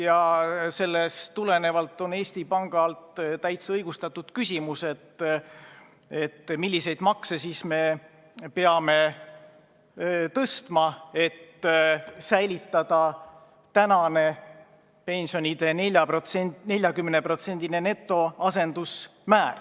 Ja sellest tulenevalt on Eesti Pangal täitsa õigustatud küsimus, milliseid makse me siis peame tõstma, et püsiks praegune pensionide netoasendusmäär 40%.